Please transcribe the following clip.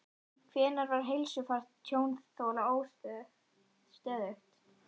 Hvenær var heilsufar tjónþola stöðugt?